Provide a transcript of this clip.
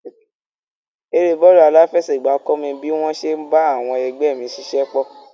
Eré bọ́ọ̀lù aláfẹsẹ̀gbá kọ́ mi bí wọ́n ṣe ń bá àwọn ẹgbẹ́ mi ṣiṣẹ́pọ̀.